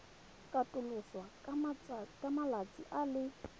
katoloswa ka malatsi a le